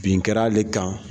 Bin kɛra ale kan